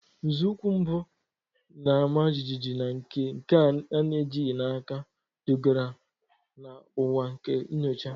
Nzọụkwụ mbụ, na-ama jijiji na nke a na-ejighị n'aka, dugara na ụwa nke nyocha.